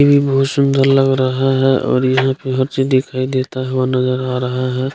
ये भी बहुत सुंदर लग रहा है और यहाँ पे चीज़ दिखाई देता है और नजर आ रहा है।